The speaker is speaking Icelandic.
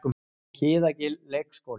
Kiðagil leikskóli